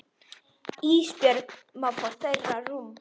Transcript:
Ísbjörg má fá þeirra rúm.